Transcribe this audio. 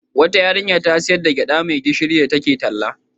Wata yarinya ta sayar da gyaɗa mai gishirin da take talla.